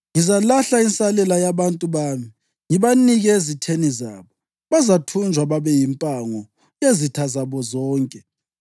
Ngizalahla insalela yabantu bami, ngibanikele ezitheni zabo. Bazathunjwa babe yimpango yezitha zabo zonke,